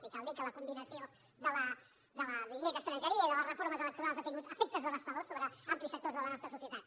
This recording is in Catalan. i cal dir que la combinació de la llei d’estrangeria i de les reformes electorals ha tingut efectes devastadors sobre amplis sectors de la nostra societat